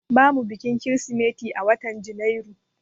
bamu bikin krismeti a watan janairu